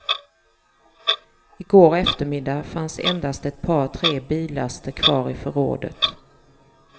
I går eftermiddag fanns endast ett par tre billaster kvar i förrådet.